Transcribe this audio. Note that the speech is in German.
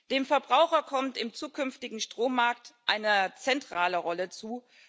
Dem Verbraucher kommt im zukünftigen Strommarkt eine zentrale Rolle zu.